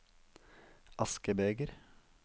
askebeger